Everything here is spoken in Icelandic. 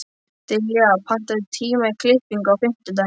Dilja, pantaðu tíma í klippingu á fimmtudaginn.